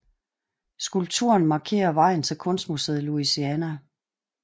Skulpturen markerer vejen til kunstmuseet Louisiana